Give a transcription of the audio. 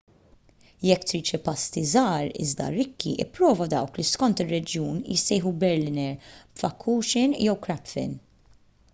jekk trid xi pasti żgħar iżda rikki ipprova dawk li skont ir-reġjun jissejjħu berliner pfannkuchen jew krapfen